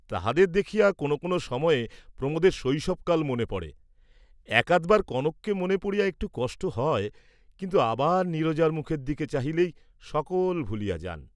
তাহাদের দেখিয়া কোনও কোনও সময়ে প্রমোদের শৈশবকাল মনে পড়ে, একআধবার কনককে মনে পড়িয়া একটু কষ্ট হয়, কিন্তু আবার নীরজার মুখের দিকে চাহিলেই সকল ভুলিয়া যান।